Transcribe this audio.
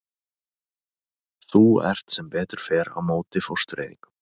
Þú ert sem betur fer á móti fóstureyðingum.